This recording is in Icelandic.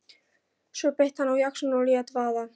Svo beit hann á jaxlinn og lét vaða.